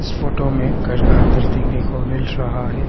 Photo मे घर का अंदर देखने को मिल रहा है।